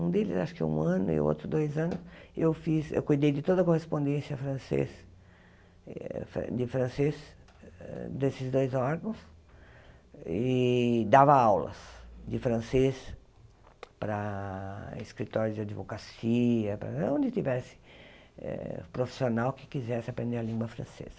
Um deles acho que um ano e outro dois anos, eu fiz eu cuidei de toda a correspondência francês eh de francês desses dois órgãos e dava aulas de francês para escritórios de advocacia, para onde tivesse eh profissional que quisesse aprender a língua francesa.